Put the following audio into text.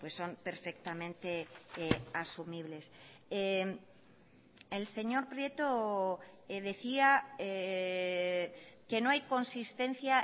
son perfectamente asumibles el señor prieto decía que no hay consistencia